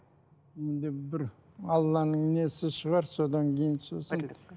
енді бір алланың несі шығар содан кейін